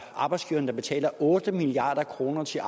arbejdsgiverne der betaler otte milliard kroner til